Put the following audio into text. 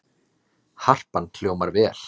Harpan hljómar vel